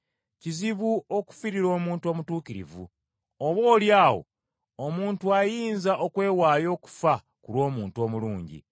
Kizibu okufiirira omuntu omutuukirivu. Oboolyawo omuntu ayinza okwewaayo okufa ku lw’omuntu omulungi.